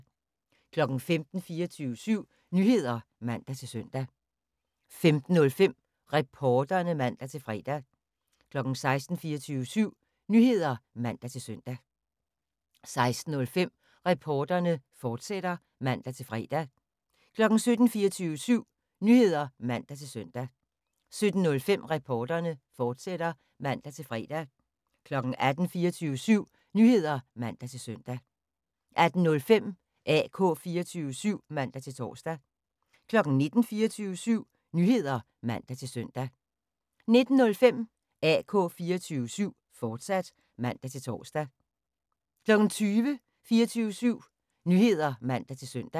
15:00: 24syv Nyheder (man-søn) 15:05: Reporterne (man-fre) 16:00: 24syv Nyheder (man-søn) 16:05: Reporterne, fortsat (man-fre) 17:00: 24syv Nyheder (man-søn) 17:05: Reporterne, fortsat (man-fre) 18:00: 24syv Nyheder (man-søn) 18:05: AK 24syv (man-tor) 19:00: 24syv Nyheder (man-søn) 19:05: AK 24syv, fortsat (man-tor)